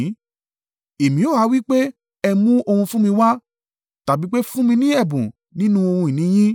Èmi ó ha wí pé, ‘Ẹ mú ohun fún mi wá, tàbí pé ẹ fún mi ní ẹ̀bùn nínú ohun ìní yín?